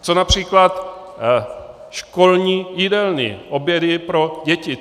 Co například školní jídelny, obědy pro děti?